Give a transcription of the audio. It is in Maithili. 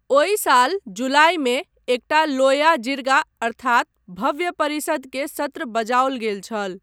ओहि साल जुलाइमे एकटा लोया जिर्गा अर्थात भव्य परिषद के सत्र बजाओल गेल छल।